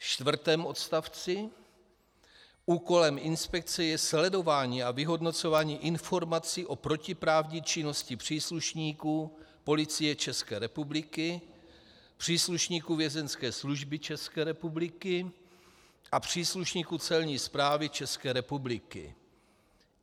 Ve čtvrtém odstavci: Úkolem inspekce je sledování a vyhodnocování informací o protiprávní činnosti příslušníků Policie České republiky, příslušníků Vězeňské služby České republiky a příslušníků Celní správy České republiky.